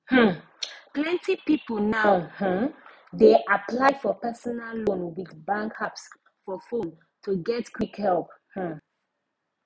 um plenty people now um dey apply for personal loan with bank apps for fone to get quick help um